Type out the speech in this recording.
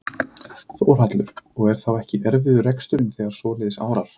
Þórhallur: Og er þá ekki erfiður reksturinn þegar svoleiðis árar?